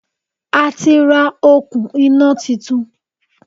A ti ra òkun iná titun